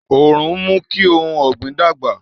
Òòrùn ń mú kí ohun ọ̀gbìn dàgbà